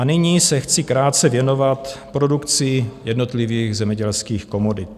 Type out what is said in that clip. A nyní se chci krátce věnovat produkci jednotlivých zemědělských komodit.